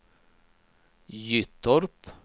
Gyttorp